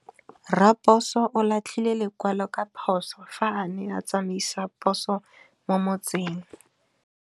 Raposo o latlhie lekwalô ka phosô fa a ne a tsamaisa poso mo motseng.